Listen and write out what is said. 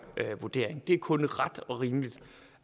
vurdering det er kun ret og rimeligt